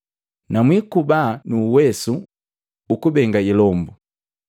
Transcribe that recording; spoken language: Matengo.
Na mwikubaa nu uwesu ukubenga ilombu.”